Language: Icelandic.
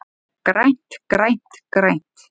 GRÆNT, GRÆNT, GRÆNT.